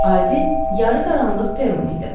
Adi yarı qaranlıq peron idi.